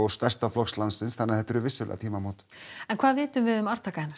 stærsta flokks landsins þannig að þetta eru vissulega tímamót en hvað vitum við um arftaka hennar